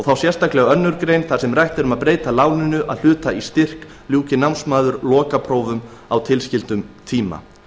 þá sérstaklega aðra grein þar sem rætt er um að breyta láninu að hluta í styrk ljúki námsmaður lokaprófum á tilskildum tíma